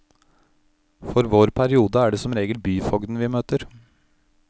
For vår periode er det som regel byfogden vi møter.